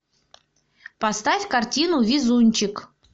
поставь картину везунчик